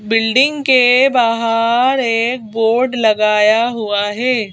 Building के बाहर एक बोर्ड लगाया हुआ है।